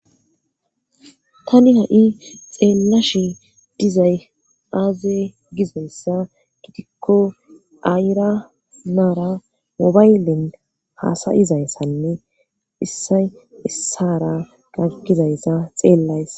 Tani ha7i xeellashi dizay aaze gizayssa gitikko ayra naara mobaylin haasayizayssanne issay issara gaggizayssa xeellays.